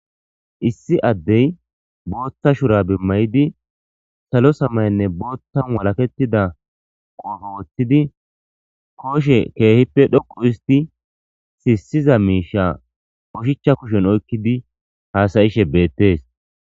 Issi Adey Botha shurabe mayidi salo samayenne bothara walakettida qoppe wothidi koshe kehippe dhoqu histidi sisiza misha oshicha kushen oykidi hasayishe Bette's.